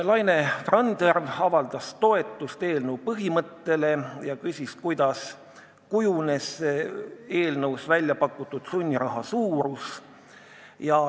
Laine Randjärv avaldas toetust eelnõu põhimõttele ja küsis, kuidas kujunes eelnõus väljapakutud sunniraha suurus.